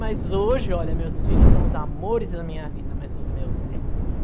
Mas hoje, olha, meus filhos são os amores da minha vida, mas os meus netos.